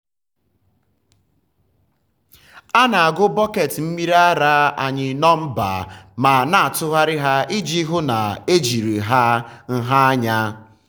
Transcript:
a na-agụ bọket mmiri ara anyị nọmba ma na-atụgharị ha iji hụ na um ejiri ha nha anya.